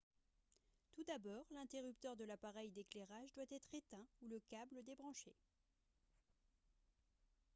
tout d'abord l'interrupteur de l'appareil d'éclairage doit être éteint ou le câble débranché